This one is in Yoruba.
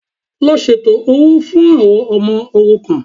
Lọ ṣètò owó fún àwọn ọmọ òrukàn